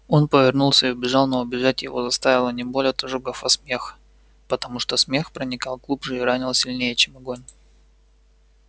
он повернулся и убежал но убежать его заставила не боль от ожогов а смех потому что смех проникал глубже и ранил сильнее чем огонь